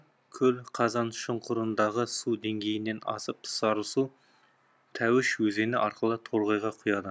көл қазаншұңқырындағы су деңгейінен асып сарысу тәуіш өзені арқылы торғайға құяды